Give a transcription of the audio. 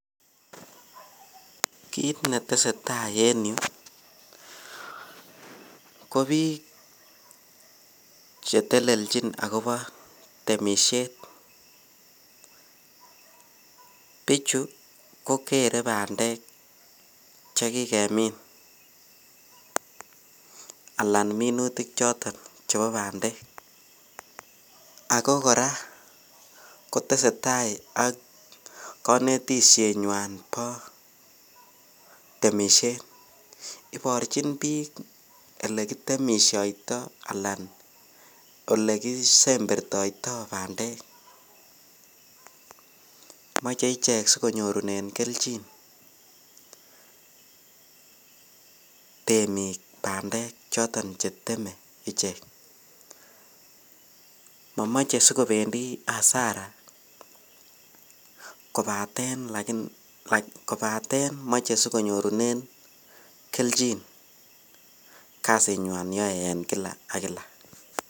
Kiit netesetai en yuu ko biik chetelelchin akobo temishet, bichu ko keree bandek chekikemin alaan minutik choton chekikemin ak ko kora kotesetai ak kobotishenywan no temishet, iborchin biik elekitemishoito alaan olekisembertoito bandek, moche ichek sikonyorunen kelchin temiik bandek choton cheteme ichek, momoche sikobendi asara kobaten moche sikonyorunen kelchin kasinywan yoe en kila ak kila.